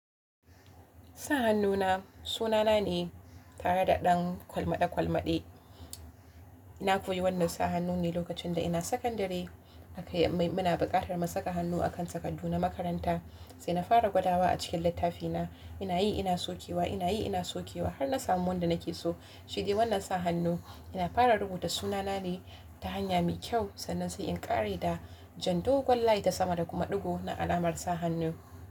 Sa hannuna sunana ne tare da ɗan kwalmaɗa kwalmaɗe. Na koyi wannan sa hannun ne lokacin da ina sakandare aka yi muna bukatar mu saka hannu a kan takardu na makaranta. Sai na fara gwadawa a cikin littafina, ina yi ina sokewa, ina yi ina sokewa har na samu wanda nake so. Shi dai wannan sa hannu ina fara rubuta sunana ne ta hanya mai kyau sannan sai in ƙare da jan dogon layi ta sama da kuma ɗigo na alamar sa hannu.